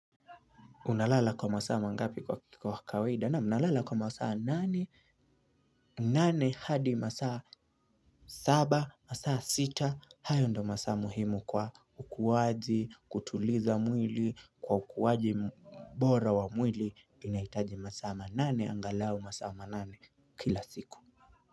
Unalala kwa masaa nangapi kwa kawaida? Naam nalala kwa masaa nane nane hadi masaa saba, masaa sita, hayo ndo masaa muhimu kwa ukuwaji, kutuliza mwili, kwa ukuwaji mbora wa mwili, inaitaji masaa manane, angalau masaa manane kila siku.